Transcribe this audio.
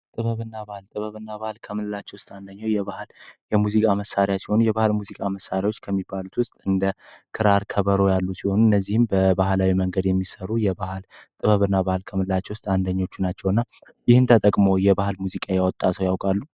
ጥበብ እና ባህል ጥበብ እና ባህል ከምንላቸው ውስጥ አንዱ የሙዚቃ መሳሪያ ሲሆን የሙዚቃ መሳሪያዎችን ከሚባሉት ውስጥ ክራር ፣ከበሮ ያሉት እነዚህም በባህላዊ መንገድ የሚሰሩ ጥበብ እና ባህል ከምንላቸው አንደኞቹ ናቸው። ይሄን ተጠቅመው የባህል ሙዚቃ የወጣ ሰው ያውቃሉ?